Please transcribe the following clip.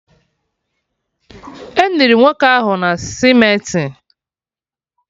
Eniri nwoke ahụ na cementị?